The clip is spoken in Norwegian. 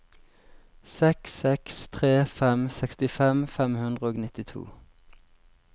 seks seks tre fem sekstifem fem hundre og nittito